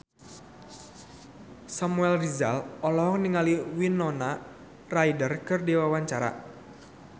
Samuel Rizal olohok ningali Winona Ryder keur diwawancara